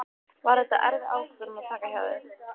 Var þetta erfið ákvörðun að taka hjá þér?